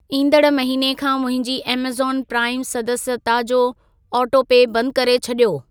ईंदड़ महिने खां मुंहिंजी ऐमेज़ॉन प्राइम सदस्यता जो ऑटोपे बंद करे छॾियो।